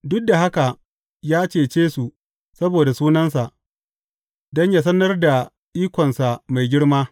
Duk da haka ya cece su saboda sunansa, don yă sanar da ikonsa mai girma.